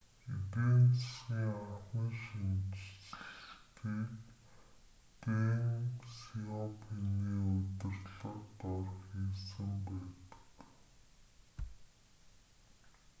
эдийн засгийн анхны шинэчлэлтийг дэн сяопиний удирдлага дор хийсэн байдаг